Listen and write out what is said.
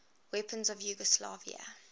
weapons of yugoslavia